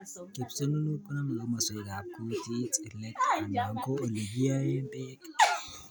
Kipsununut koname komaswekab kutit, let anan ko ole kiaey bek